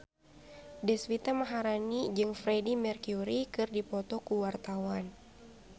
Deswita Maharani jeung Freedie Mercury keur dipoto ku wartawan